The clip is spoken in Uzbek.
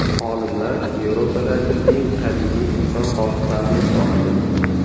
Olimlar Yevropadagi eng qadimiy inson qoldiqlarini topdi.